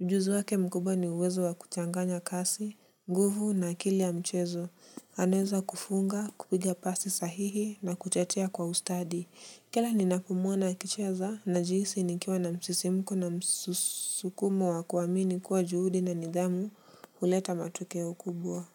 Ujuzi wake mkubwa ni uwezo wa kuchanganya kasi, nguvu na akili ya mchezo. Anaweza kufunga, kupiga pasi sahihi na kuchetea kwa ustadi. Kila ninapomuona akicheza, najihsi nikiwa na msisimuko na msukumo wa kuamini kuwa juhudi na nidhamu huleta matokeo kubwa.